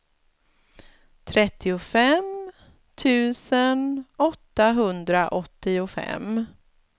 trettiofem tusen åttahundraåttiofem